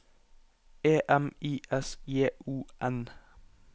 E M I S J O N